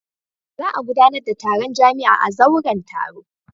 Za a gudanar da taron jami'a a zauren taro.